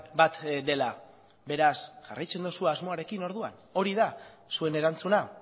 bat dela beraz jarraitzen duzu asmoarekin orduan hori da zuen erantzuna